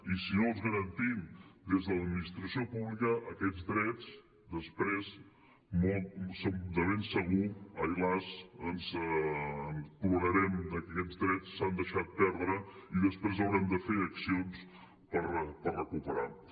i si no els garantim des de l’administració pública aquests drets després de ben segur ai las plorarem de que aquests drets s’han deixat perdre i després haurem de fer accions per recuperar los